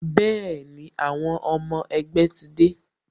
Bẹẹni, àwọn ọmọ ẹgbẹ́ ti dé